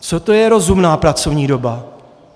Co to je rozumná pracovní doba?